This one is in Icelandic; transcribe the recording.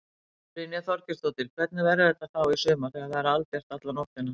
Brynja Þorgeirsdóttir: Hvernig verður þetta þá í sumar þegar það er albjart alla nóttina?